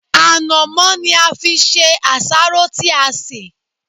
Ànàmọ́ ni a fi ṣe àsáró tí a ṣè.